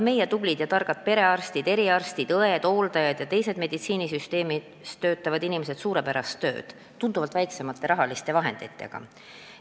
Meie tublid ja targad perearstid, eriarstid, õed, hooldajad ja teised meditsiinisüsteemis töötavad inimesed teevad suurepärast tööd tunduvalt väiksemate rahaliste vahenditega.